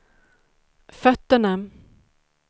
fötterna